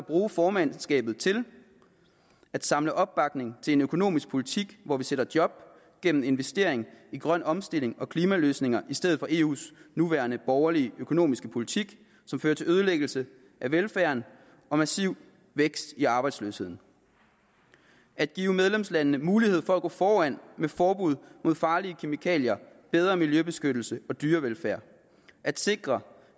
eu formandskabet til at samle opbakning til en økonomisk politik hvor vi skaber job gennem investering i grøn omstilling og klimaløsninger i stedet for eus nuværende borgerlige økonomiske politik som fører til ødelæggelse af velfærden og massiv vækst i arbejdsløsheden at give medlemslandene mulighed for at gå foran med forbud mod farlige kemikalier bedre miljøbeskyttelse og dyrevelfærd at sikre